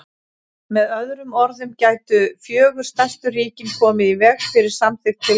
Með öðrum orðum gætu fjögur stærstu ríkin komið í veg fyrir samþykkt tillögunnar.